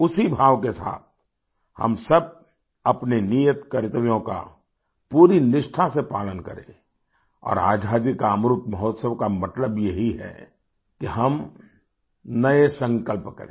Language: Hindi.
उसी भाव के साथ हम सब अपने नियत कर्तव्यों का पूरी निष्ठा से पालन करें और आज़ादी का अमृत महोत्सव का मतलब यही है कि हम नए संकल्प करें